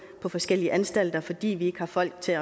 på forskellige anstalter fordi vi ikke har folk til